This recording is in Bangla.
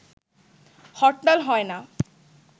হরতাল হয় না